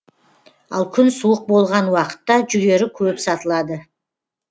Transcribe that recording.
ал күн суық болған уақытта жүгері көп сатылады